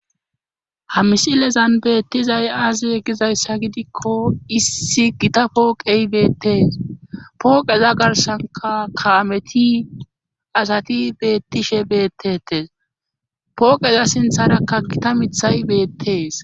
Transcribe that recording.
Ha misilezan beettizay aazee giza issa gidikko issi gita pooqey beettees. Pooqeza garssanika kaameti asati beettishe beettetes. Pooqeza sintharakka gita mithay beettees.